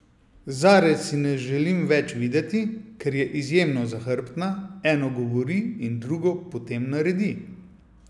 Zare si ne želim več videti, ker je izjemno zahrbtna, eno govori in drugo potem naredi.